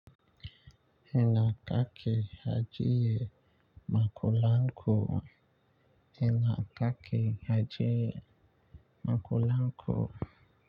Ina kake ajiye makullan ku. Ina kaki ha jiye ma kula'n ku.